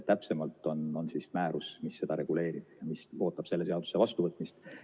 Täpsemalt reguleerib seda määrus ja see ootab selle seaduse vastuvõtmist.